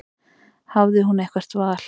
Hafði hún eitthvert val?